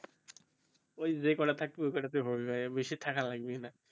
ওই যে কটা থাকবে ওই কইটা টে হবেই ভাই বেশি থাকা লাগবেই নাই